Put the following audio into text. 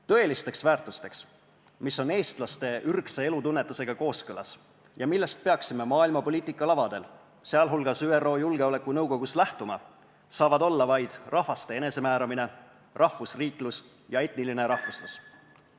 Tõelisteks väärtusteks, mis on eestlaste ürgse elutunnetusega kooskõlas ja millest peaksime maailma poliitika lavadel, sh ÜRO Julgeolekunõukogus lähtuma, saavad olla vaid rahvaste enesemääramine, rahvusriiklus ja etniline rahvuslus.